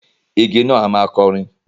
Igi náà a máa kọrin.